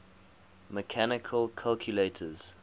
mechanical calculators